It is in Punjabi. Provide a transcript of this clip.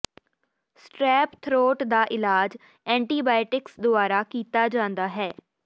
ਸਟ੍ਰੈੱਪ ਥਰੋਟ ਦਾ ਇਲਾਜ ਐਂਟੀਬਾਇਟਿਕਸ ਦੁਆਰਾ ਕੀਤਾ ਜਾਂਦਾ ਹੈ